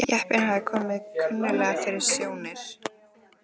Jeppinn hafði komið kunnuglega fyrir sjónir.